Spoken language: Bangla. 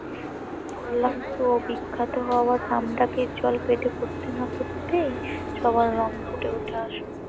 বললাম তো বিখ্যাত হবার নামডাক এর জল পেটে পড়তে না পড়তেই